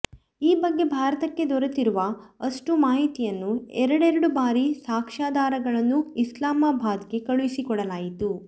ಈ ಬಗ್ಗೆ ಭಾರತಕ್ಕೆ ದೊರೆತಿರುವ ಅಷ್ಟೂ ಮಾಹಿತಿಯನ್ನು ಎರಡೆರಡು ಭಾರಿ ಸಾಕ್ಷ್ಯಾಧಾರಗಳನ್ನು ಇಸ್ಲಾಮಾಬಾದ್ ಗೆ ಕಳುಹಿಸಿಕೊಡಲಾಯಿತು